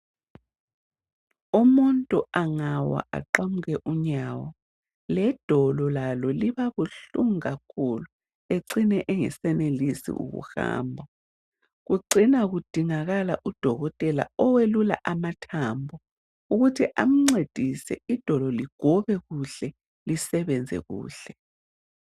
Umuntu angawa aqamuke unyawo ledolo lalo liba buhlungu kakhulu ecine engesenelisi ukuhamba kucina kudingakala udokotela oyelula amathambo ukuthi amncedise idolo ligobe kuhle lisebenze kuhle